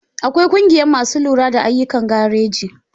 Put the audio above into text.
Akwai ƙungiya masu lura da ayyukan gareji.